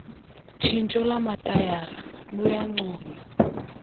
tshintsho lwamatayara luyancoywa